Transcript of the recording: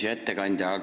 Hea ettekandja!